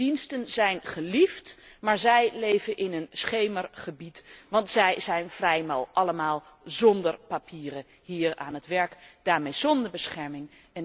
Hun diensten zijn geliefd, maar zij leven in een schemergebied, want zij zijn vrijwel allemaal zonder papieren hier aan het werk, en dus zonder bescherming.